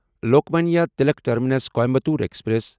Lokmanya Tilak terminus Coimbatore express